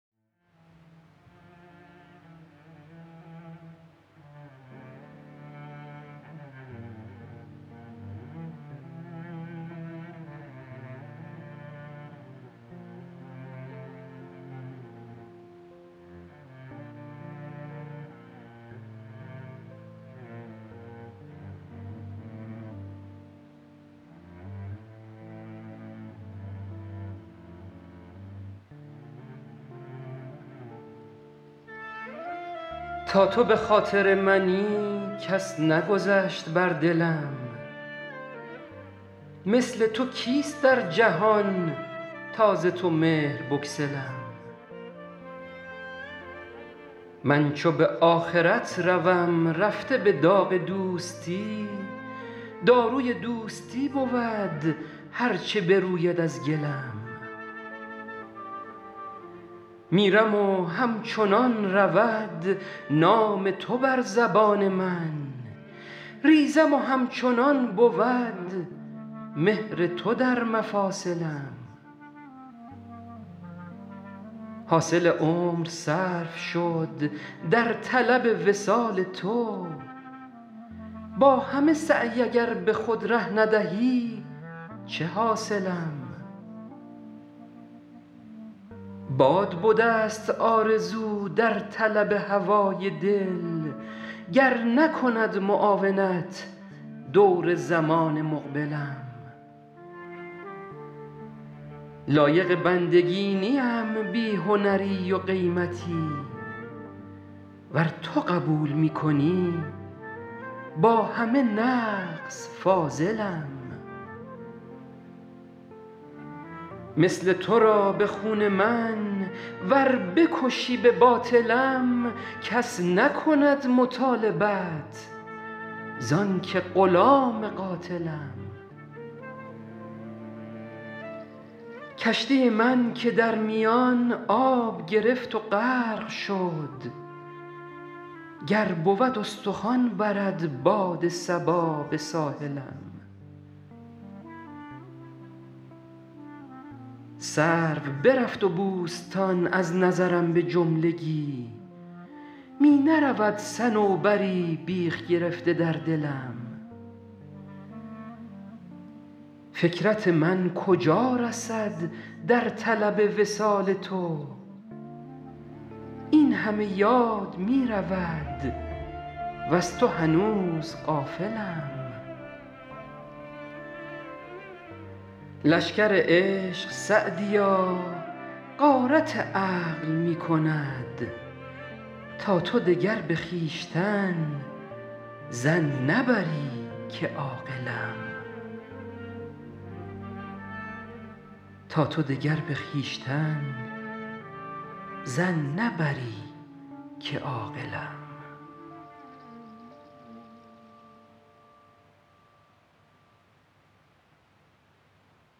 تا تو به خاطر منی کس نگذشت بر دلم مثل تو کیست در جهان تا ز تو مهر بگسلم من چو به آخرت روم رفته به داغ دوستی داروی دوستی بود هر چه بروید از گلم میرم و همچنان رود نام تو بر زبان من ریزم و همچنان بود مهر تو در مفاصلم حاصل عمر صرف شد در طلب وصال تو با همه سعی اگر به خود ره ندهی چه حاصلم باد بدست آرزو در طلب هوای دل گر نکند معاونت دور زمان مقبلم لایق بندگی نیم بی هنری و قیمتی ور تو قبول می کنی با همه نقص فاضلم مثل تو را به خون من ور بکشی به باطلم کس نکند مطالبت زان که غلام قاتلم کشتی من که در میان آب گرفت و غرق شد گر بود استخوان برد باد صبا به ساحلم سرو برفت و بوستان از نظرم به جملگی می نرود صنوبری بیخ گرفته در دلم فکرت من کجا رسد در طلب وصال تو این همه یاد می رود وز تو هنوز غافلم لشکر عشق سعدیا غارت عقل می کند تا تو دگر به خویشتن ظن نبری که عاقلم